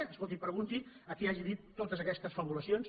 escolti pregunti ho a qui hagi dit totes aquestes fabulacions